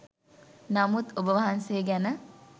නමුත් ඔබවහන්සේ ගැන